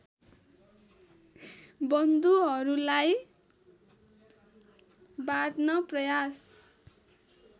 बन्धुहरूलाई बाँड्न प्रयास